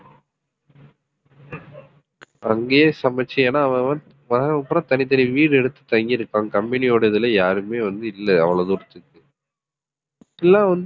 அங்கேயே சமைச்சு ஏன்னா அவன் அவன் வர்றவன் பூரா தனித்தனி வீடு எடுத்து தங்கி இருப்பான் company யோட இதுல யாருமே வந்து இல்லை அவ்வளவு தூரத்துக்கு இப்படியெல்லாம் வந்து